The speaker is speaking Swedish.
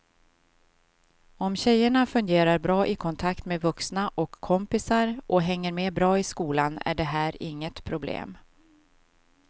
Om tjejerna fungerar bra i kontakt med vuxna och kompisar och hänger med bra i skolan är det här inget problem.